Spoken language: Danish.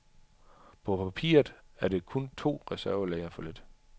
På papiret er det kun to reservelæger for lidt.